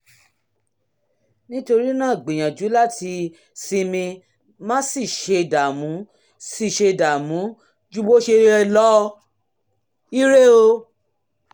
nítorí náà gbìyànjú láti sinmi má sì ṣe dààmú sì ṣe dààmú ju bó ṣe yẹ lọ! ire o